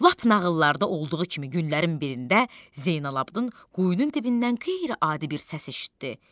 Lap nağıllarda olduğu kimi günlərin birində Zeynalabddin quyunun dibindən qeyri-adi bir səs eşitdi.